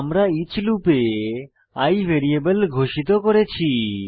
আমরা ইচ লুপে i ভ্যারিয়েবল ঘোষিত করেছি